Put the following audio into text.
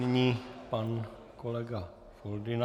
Nyní pan kolega Foldyna.